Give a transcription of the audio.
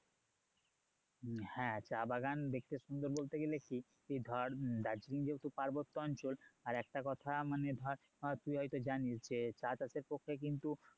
হ্যাঁ চা বাগান দেখতে সুন্দর বলতে গেলে কি ধর দার্জিলিং যেহেতু পার্বত্য অঞ্চল আর একটা কথা মানে ধর তুই হয়তো জানিস যে চা চাষের পক্ষে কিন্তু